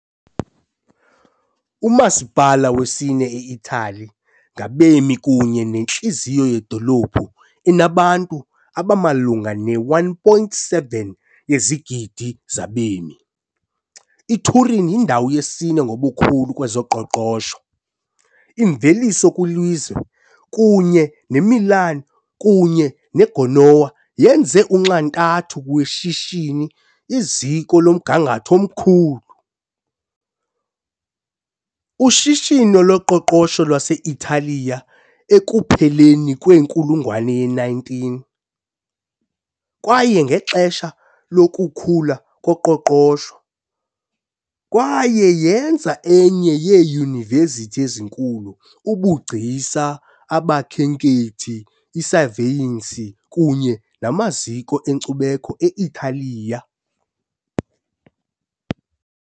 Umasipala wesine e-Italiya ngabemi kunye nentliziyo yedolophu enabantu abamalunga ne-1.7 yezigidi zabemi, iTurin yindawo yesine ngobukhulu kwezoqoqosho - imveliso kwilizwe kunye neMilan kunye neGenoa yenze unxantathu weshishini, iziko lomgangatho omkhulu. ushishino loqoqosho lwase-Italiya ekupheleni kwenkulungwane ye-19, kwaye ngexesha lokukhula koqoqosho, kwaye yenza enye yeyunivesithi enkulu, ubugcisa, abakhenkethi, isaveyensi kunye namaziko enkcubeko e-Italiya.